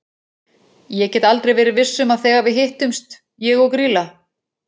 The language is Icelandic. Ég get aldrei verið viss um að þegar við hittumst ég og Grýla.